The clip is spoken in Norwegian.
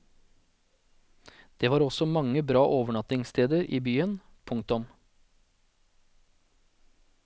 Det var også mange bra overnattingssteder i byen. punktum